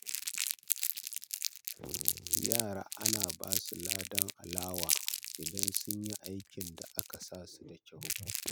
Yara ana basu ladan alewa idan sun yi aikin da aka sasu da kyau.